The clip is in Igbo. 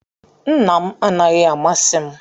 Nna m anaghị amasị m